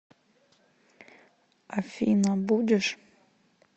афина будешь